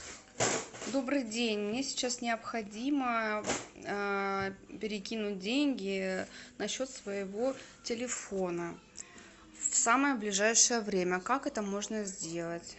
добрый день мне сейчас необходимо перекинуть деньги на счет своего телефона в самое ближайшее время как это можно сделать